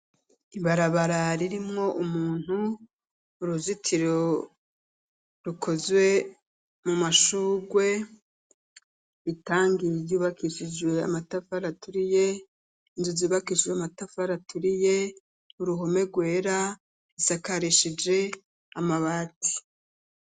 Ibarabara ririmwo umuntu, uruzitiro rukozwe mu mashurwe itangi ryubakishijwe amatafari aturiye, inzu zubakishijwe amatafari aturiye, uruhome rwera rusakarishije amabati.